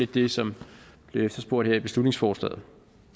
det som bliver efterspurgt her i beslutningsforslaget